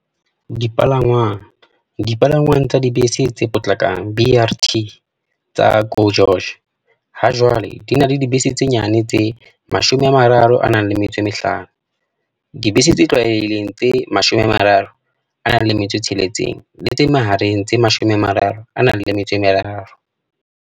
Dipalangwang, dipalangwang tsa dibese tse potlakang BRT tsa GO GEORGE hajwale di na le dibese tse nyane tse 35, dibese tse tlwaelehileng tse 36 le tse mahareng tse 33.